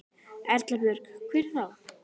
Erla Björg: Hvernig þá?